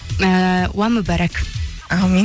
ііі уә мүбәрәк әумин